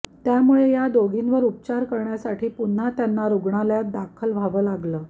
त्यामुळे या दोघींवर उपचार करण्यासाठी पुन्हा त्यांना रुग्णालयात दाखल व्हावं लागलं